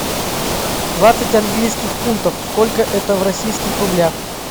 двадцать английских фунтов сколько это в российских рублях